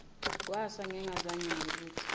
kwasa ngingazange ngibuthi